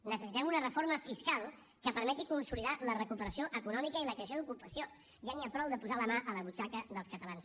necessitem una reforma fiscal que permeti consolidar la recuperació econòmica i la creació d’ocupació ja n’hi ha prou de posar la mà a la butxaca dels catalans